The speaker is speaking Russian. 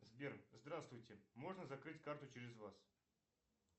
сбер здравствуйте можно закрыть карту через вас